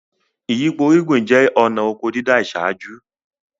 Ìyípo irúgbin jẹ́ ọ̀na ọkọ dídá ìṣáájú